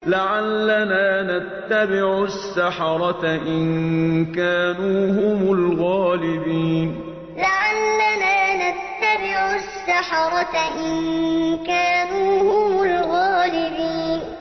لَعَلَّنَا نَتَّبِعُ السَّحَرَةَ إِن كَانُوا هُمُ الْغَالِبِينَ لَعَلَّنَا نَتَّبِعُ السَّحَرَةَ إِن كَانُوا هُمُ الْغَالِبِينَ